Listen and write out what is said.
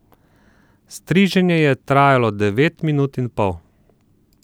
Striženje je trajalo devet minut in pol.